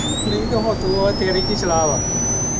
ਨਹੀਂ ਤੇ ਹੁਣ ਤੂੰ ਦੱਸ ਤੇਰੀ ਕਿ ਸਲਾਹ ਵਾ